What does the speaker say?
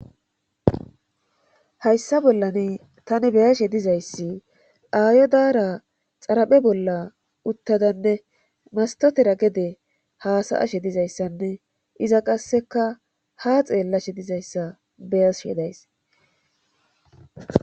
Hayssa bollani tani beyashe dizayssi aayo daara xaraphe bolla uttadanne mastotera gede haasay ashe dizayssanne iza qasseka ha xeellashe dizayssa beyashedays.